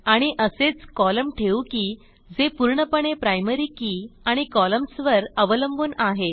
आणि असेच कॉलम ठेवू की जे पूर्णपणे प्रायमरी के आणि कॉलम्न्स वर अवलंबून आहेत